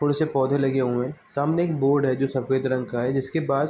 थोड़े से पौधे लगे हुए हैं सामने एक बोर्ड है जो सफ़ेद रंग का है जिसके पास --